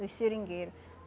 Dos seringueiro